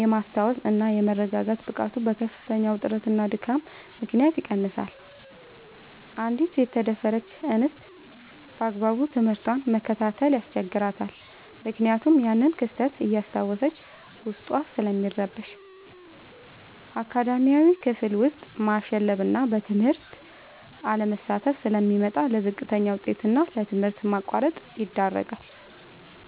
የማስታወስ እና የመረጋጋት ብቃቱ በከፍተኛ ውጥረትና ድካም ምክንያት ይቀንሳል: አንዲት የተደፈረች እንስት ባግባቡ ትምህርቷን መከታተል ያስቸግራታል ምክንያቱም ያንን ክስተት እያስታወሰች ዉስጧ ስለሚረበሽ። አካዳሚያዊ፦ ክፍል ውስጥ ማሸለብና በትምህርቱ አለመሳተፍ ስለሚመጣ: ለዝቅተኛ ውጤት እና ለትምህርት ማቋረጥ ይዳረጋል።